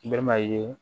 Baliman ye